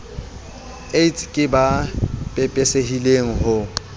aids ke ba pepesehileng ho